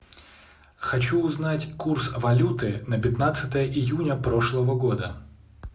хочу узнать курс валюты на пятнадцатое июня прошлого года